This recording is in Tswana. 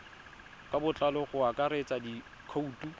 ka botlalo go akaretsa dikhoutu